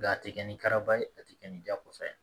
a tɛ kɛ ni karaba ye a tɛ kɛ ni jakosa ye